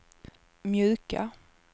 mjuka